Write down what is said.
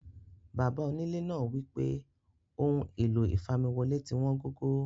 Bàbá onílẹ̀ náà wípé Ọ̀hun ẹ̀lọ̀ ìfàmiwọlé̀ tí wọn gògó.